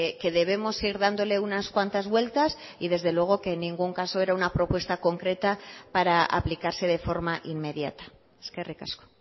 que debemos ir dándole unas cuantas vueltas y desde luego que en ningún caso era una propuesta concreta para aplicarse de forma inmediata eskerrik asko